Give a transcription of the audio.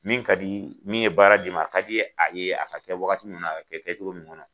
Min ka di min ye baara d'i ma a ka di a ye a ka kɛ wagati min na a ka kɛ kɛcogo min kɔnɔ.